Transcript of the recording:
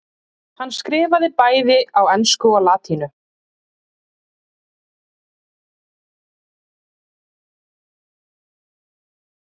sneri Andri út úr.